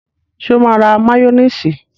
Sọ ma ra máyónísì?